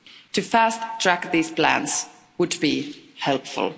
To fast track these plans would be helpful.